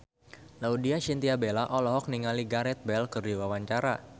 Laudya Chintya Bella olohok ningali Gareth Bale keur diwawancara